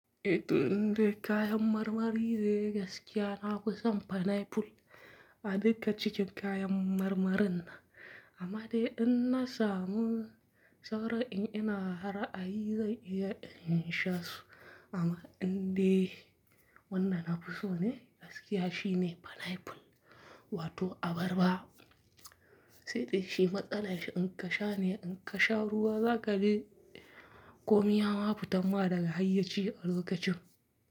Eh, to indai kayan marmari ne gaskiya na fi son pineapple a duka cikin kayan marmarin nan. Amma dai in na samu sauran in ina ra'ayi zai iya in sha su. Amma in dai wanda nafi so ne gaskiya shine pineapple wato abarba. Sai dai shi matsalan shi in ka sha ne in ka sha ruwa, za kaji komi yama fitan ma daga hayyaci a lokacin.